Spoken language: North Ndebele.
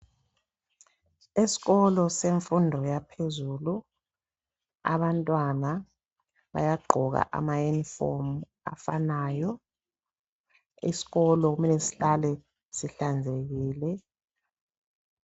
Esikolo semfundo yaphezulu abantwana bayagqoka amayunifomu afanayo. Isikolo kumele sihlale sihlanzekile.